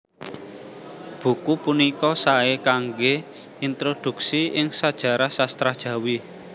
Buku punika saé kanggé introdhuksi ing sajarah sastra Jawi